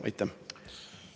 Aitäh!